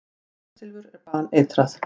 Kvikasilfur er baneitrað.